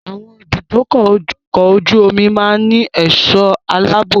Àwọn ibùdókọ̀ ọkọ̀ ojú omi máa ń ní ẹ̀sọ́ aláàbò.